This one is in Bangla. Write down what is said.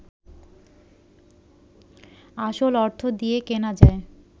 আসল অর্থ দিয়ে কেনা যায়